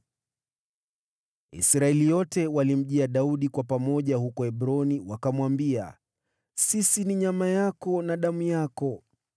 Israeli yote walimjia Daudi kwa pamoja huko Hebroni wakamwambia, “Sisi ni nyama yako na damu yako.